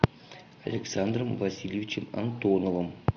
александром васильевичем антоновым